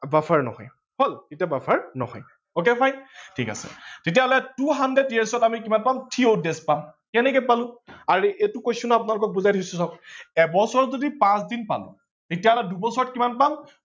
buffer নহয় তেতিয়া buffer নহয় ok fine ঠিক আছে তেতিয়া হলে two hundred year ত আমি কিমান পাম three odd days পাম কেনেকে পালো, আৰে এইটো question আপোনালোকক বুজাই দিছো চক এবছৰত যদি পাচ দিন পালো তেতিয়া হলে দুবছৰত কিমান পাম